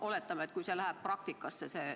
Oletame, et teie eelnõus toodu viiakse ellu.